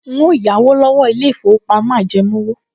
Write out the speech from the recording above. N óò yáwó lọ́wọ́ ilé-ìfowópamọ́ ajẹmówò